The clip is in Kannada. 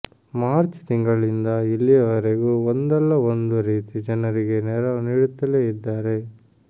ಮಾರ್ಚ್ ತಿಂಗಳಿಂದ ಇಲ್ಲಿಯವರೆಗೂ ಒಂದಲ್ಲ ಒಂದು ರೀತಿ ಜನರಿಗೆ ನೆರವು ನೀಡುತ್ತೇಲೆ ಇದ್ದಾರೆ